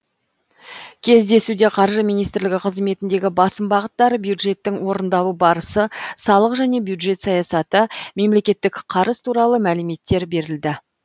кездесуде қаржы министрлігі қызметіндегі басым бағыттар бюджеттің орындалу барысы салық және бюджет саясаты мемлекеттік қарыз туралы мәліметтер берілді